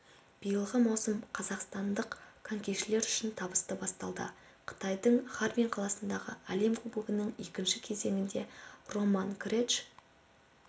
биылғы маусым қазақстандық конькишілер үшін табысты басталды қытайдың харбин қаласындағы әлем кубогының екінші кезеңінде роман креч